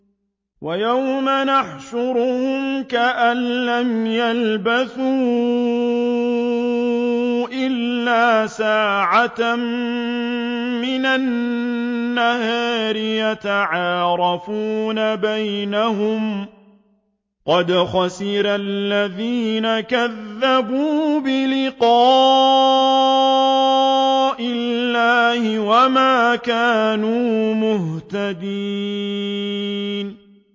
وَيَوْمَ يَحْشُرُهُمْ كَأَن لَّمْ يَلْبَثُوا إِلَّا سَاعَةً مِّنَ النَّهَارِ يَتَعَارَفُونَ بَيْنَهُمْ ۚ قَدْ خَسِرَ الَّذِينَ كَذَّبُوا بِلِقَاءِ اللَّهِ وَمَا كَانُوا مُهْتَدِينَ